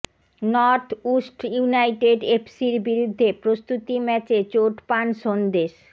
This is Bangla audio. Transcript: নর্থ উস্ট ইউনাইটেড এফসির বিরুদ্ধে প্রস্তুতি ম্যাচে চোট পান সন্দেশ